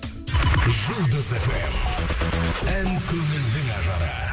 жұлдыз фм ән көңілдің ажары